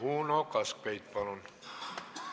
Uno Kaskpeit, palun!